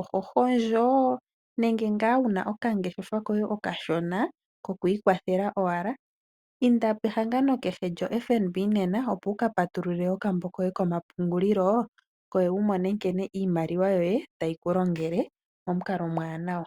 oho hondjo nenge ngaa wu na okangeshefa koye okashona koku ikwathela owala, inda pehangano kehe lyoFNB nena, opo wu ka patulule okambo koye komapungulilo, opo wu mone nkene iimaliwa yoye tayi ku longele pamukalo omuwanwa.